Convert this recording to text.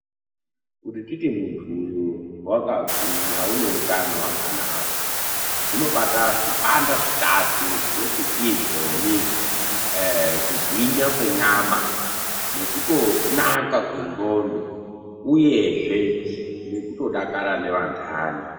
Kuti titi muntu uyu wakagwinya uneutano hwakanaka zvinobata zvipanda zvitatu zvinoti izvoni: Kugwinya kwenyama, kunaka kwendlondo Uyezve nekutodakara nevanhani.